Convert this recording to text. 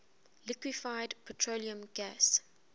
liquefied petroleum gas